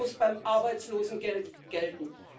Das muss beim Arbeitslosengeld gelten.